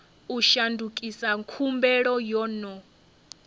u shandukisa khumbelo yo no